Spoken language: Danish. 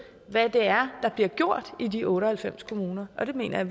hvad det er der bliver gjort i de otte og halvfems kommuner og det mener jeg